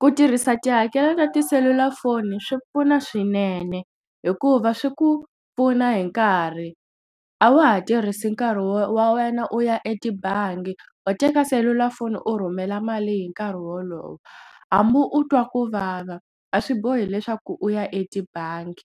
Ku tirhisa tihakelo ta tiselulafoni swi pfuna swinene hikuva swi ku pfuna hi nkarhi a wa ha tirhisi nkarhi wa wena u ya etibangi u teka selulafoni u rhumela mali hi nkarhi wolowo hambi u twa ku vava a swi bohi leswaku u ya etibangi